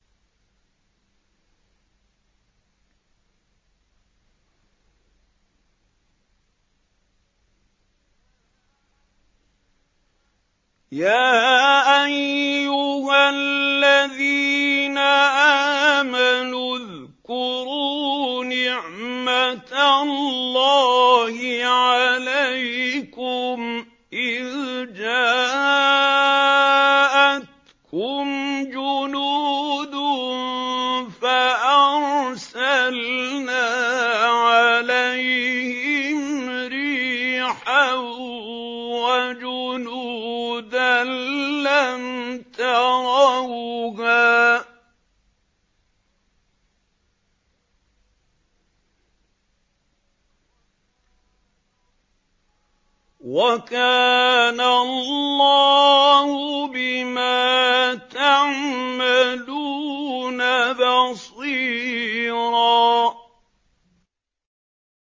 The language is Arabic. يَا أَيُّهَا الَّذِينَ آمَنُوا اذْكُرُوا نِعْمَةَ اللَّهِ عَلَيْكُمْ إِذْ جَاءَتْكُمْ جُنُودٌ فَأَرْسَلْنَا عَلَيْهِمْ رِيحًا وَجُنُودًا لَّمْ تَرَوْهَا ۚ وَكَانَ اللَّهُ بِمَا تَعْمَلُونَ بَصِيرًا